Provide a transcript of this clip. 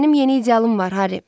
Mənim yeni idealım var Harry.